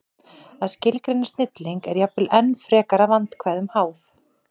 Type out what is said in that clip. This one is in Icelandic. Að skilgreina snilling er jafnvel enn frekar vandkvæðum háð.